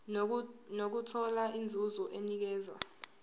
nokuthola inzuzo enikezwa